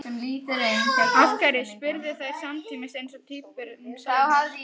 Af hverju? spurðu þær samtímis eins og tvíburum sæmir.